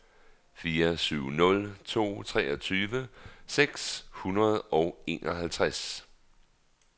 fire syv nul to treogtyve seks hundrede og enoghalvtreds